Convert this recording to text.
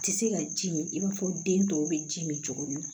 Tɛ se ka ji mi i b'a fɔ den tɔw bɛ ji min cogo min na